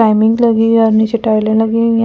Timing लगी हुई हैं नीचे टाइल लगी हुई हैं और रेड है।